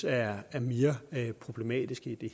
er er mere problematiske i